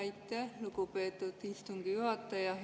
Aitäh, lugupeetud istungi juhataja!